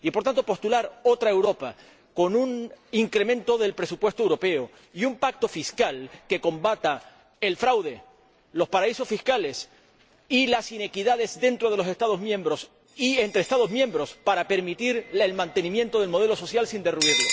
Y, por tanto, debe postular otra Europa con un incremento del presupuesto europeo y un pacto fiscal que combata el fraude, los paraísos fiscales y las inequidades dentro de los Estados miembros, y entre Estados miembros, para permitir el mantenimiento del modelo social sin derruirlo.